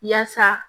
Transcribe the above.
Yaasa